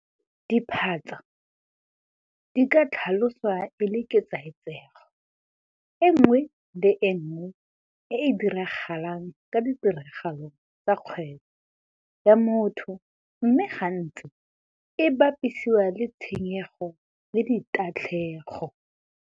Diphatsa di ka tlhaloswa e le ketsaetsego e nngwe le e nngwe e e diragalang ka ditiragalo tsa kgwebo ya motho mme gantsi e bapisiwa le tshenygo le tatlhego.